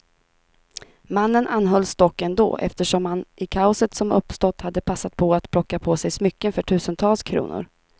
Mannen anhölls dock ändå, eftersom han i kaoset som uppstått hade passat på att plocka på sig smycken för tusentals kronor.